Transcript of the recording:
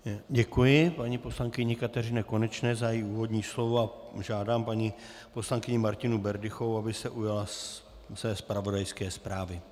Děkuji paní poslankyni Kateřině Konečné za její úvodní slovo a žádám paní poslankyni Martinu Berdychovou, aby se ujala své zpravodajské zprávy.